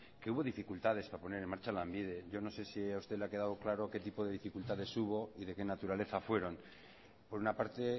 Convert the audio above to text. que hubo dificultades para poner en marcha lanbide yo no sé si a usted le ha quedado claro qué tipo de dificultades hubo y de qué naturaleza fueron por una parte